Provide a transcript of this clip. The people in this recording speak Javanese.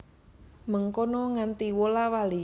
Mengkono nganti wola wali